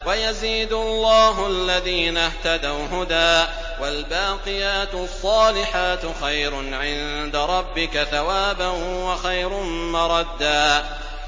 وَيَزِيدُ اللَّهُ الَّذِينَ اهْتَدَوْا هُدًى ۗ وَالْبَاقِيَاتُ الصَّالِحَاتُ خَيْرٌ عِندَ رَبِّكَ ثَوَابًا وَخَيْرٌ مَّرَدًّا